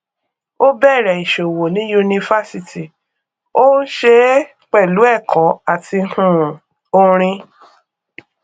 ó bẹrẹ ìṣòwò ní yunifásítì ó ń ṣe é pẹlú ẹkọ àti um orin